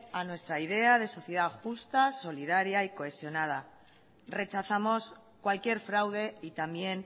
a nuestra idea de sociedad justa solidaria y cohesionada rechazamos cualquier fraude y también